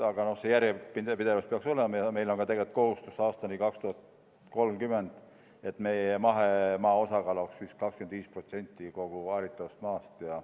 Aga see järjepidevus peaks olema ja meil on ka tegelikult kohustus aastani 2030, et meie mahemaa osakaal oleks 25% kogu haritavast maast.